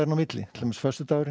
á milli til dæmis föstudagurinn